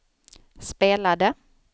spelade